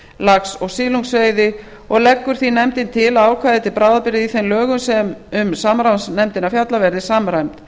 lax og silungsveiði og leggur því nefndin til að ákvæði til bráðabirgða í þeim lögum sem um samráðsnefndina fjalla verði samræmd